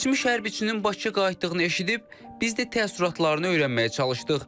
Keçmiş hərbiçinin Bakıya qayıtdığını eşidib, biz də təəssüratlarını öyrənməyə çalışdıq.